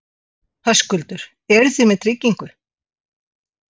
Höskuldur: Eru þið með tryggingu?